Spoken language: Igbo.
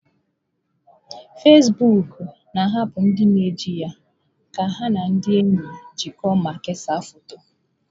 Fezbuuku na-ahapụ ndị na eji ya ka ha na ndị enyi jikọọ ma kesaa foto.